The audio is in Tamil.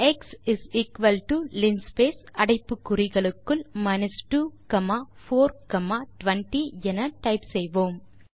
X is equal to linspace அடைப்பு குறிகளுக்குள் 2420 என டைப் செய்வோம்